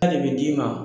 bɛ d'i ma